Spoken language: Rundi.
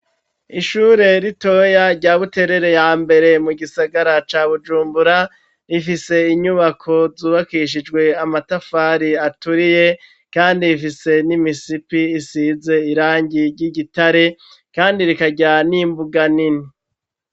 Ishure ritoya rya Buterere ya mbere, mu gisagara ca Bujumbura, rifise inyubako zubakishijwe amatafari aturiye kandi rifise n'imisipi isize irangi ry'igitare, kandi rikagira n'imbuga nini.